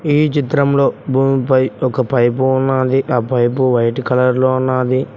ఈ చిత్రంలో భూమిపై ఒక పైప్ ఉన్నది ఆ పైప్ వైట్ కలర్ లో ఉన్నది.